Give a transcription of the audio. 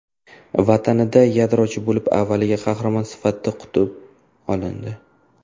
Vatanida yadrochi olim avvaliga qahramon sifatida qutib olindi.